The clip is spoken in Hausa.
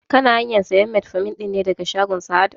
Kana hanyan sayan metformin ɗin ne daga shagon sahad?